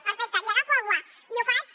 perfecte li agafo el guant i ho faig